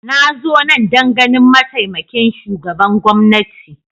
Na zo nan don ganin mataimakin shugaban gwamnati